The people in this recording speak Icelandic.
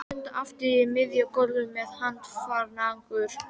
Við stöndum aftur á miðju gólfi með handfarangur.